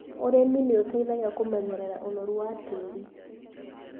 ũrĩmi nĩ ũteithagia kũmenyerera ũnoru wa tĩri.